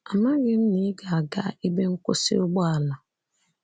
Amaghị m na ị ga-aga n’ebe nkwụsị ụgbọala.